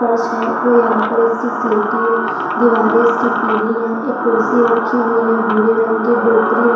फर्श है वो यहाँ पर इसकी स्लेटी है दीवारें इसकी पीली हैं एक कुर्सी रखी हुई है भूरे रंग की डोकरी --